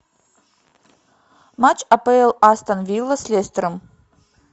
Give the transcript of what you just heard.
матч апл астон вилла с лестером